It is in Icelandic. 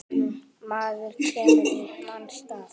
Maður kemur í manns stað.